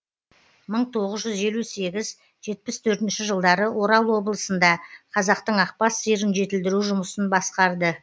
жылдары орал облысында қазақтың ақбас сиырын жетілдіру жұмысын басқарды